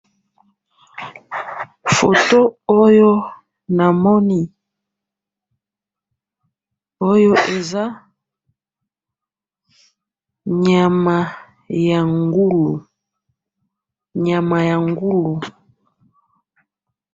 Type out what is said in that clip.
photo oyo namoni, oyo eza nyama ya ngulu, nyama ya ngulu